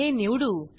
हे निवडू